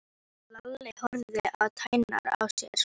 Eftir þetta varð ekkert samt við höfnina aftur.